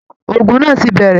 Ògún náà tí bẹrẹ!